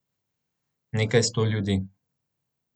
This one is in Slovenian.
Nekaj sto ljudi.